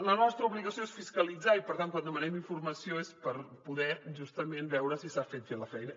la nostra obligació és fiscalitzar i per tant quan demanem informació és per poder justament veure si s’ha fet fer la feina